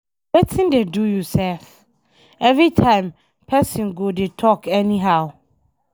Wetin dey do you sef? Everytime person go dey talk anyhow.